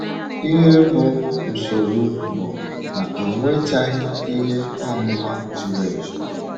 Ihe bụ́ nsọ́rụ̀ bụ na ọ nwechaghị ihe ọmụma zuru ezu.